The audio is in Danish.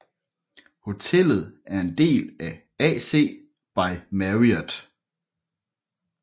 Hotellet er en del af AC by Marriott